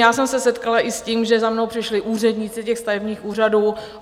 Já jsem se setkala i s tím, že za mnou přišli úředníci těch stavebních úřadů.